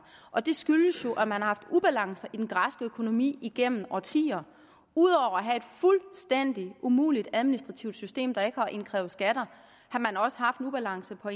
og det skyldes jo at man har haft ubalance i den græske økonomi igennem årtier ud over at have et fuldstændig umuligt administrativt system der ikke har indkrævet skatter har man også haft ubalance på